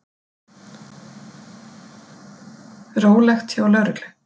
Rólegt hjá lögreglu